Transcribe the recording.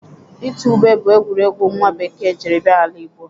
Itu ube bụ egwuregwu nwa bekee jiri bịa ala Nịajịrịa.